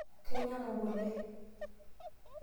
Kainyangu kule.